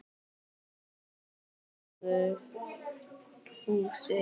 Nei svaraði Fúsi.